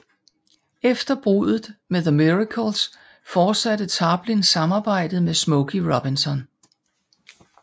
Efter bruddet med The Miracles fortsatte Tarplin samarbejdet med Smokey Robinson